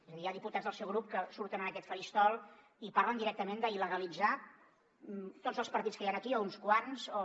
és a dir hi ha diputats del seu grup que surten en aquest faristol i parlen directament d’il·legalitzar tots els partits que hi han aquí o uns quants o